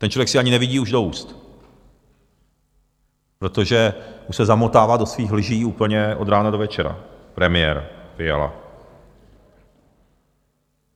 Ten člověk si ani nevidí už do úst, protože už se zamotává do svých lží úplně od rána do večera, premiér Fiala.